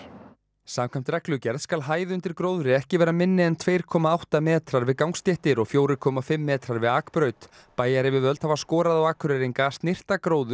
samkvæmt reglugerð skal hæð undir gróðri ekki vera minni en tvær komma átta metrar við gangstéttir og fjögur komma fimm metrar við akbraut bæjaryfirvöld hafa skorað á Akureyringa að snyrta gróður